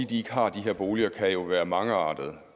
de ikke har de her boliger kan jo være mangeartede